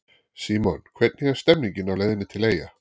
Símon: Hvernig er stemningin á leiðinni til eyja?